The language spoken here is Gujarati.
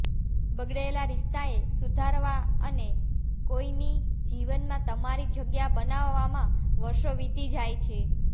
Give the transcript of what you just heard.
બગડેલા રિશ્તાએ સુધારવાઅને કોઈની જીવનમાં તમારી જગ્યા બનાવવામાં વર્ષો વીતી જાય છે